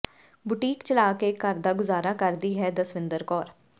boutique ਚਲਾ ਕੇ ਘਰ ਦਾ ਗੁਜ਼ਾਰਾ ਕਰਦੀ ਹੈ ਦਸਵਿੰਦਰ ਕੌਰ